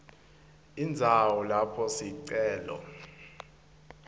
indzawo lapho sicelo